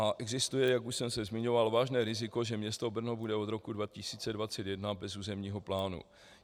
A existuje, jak už jsem se zmiňoval, vážné riziko, že město Brno bude od roku 2021 bez územního plánu.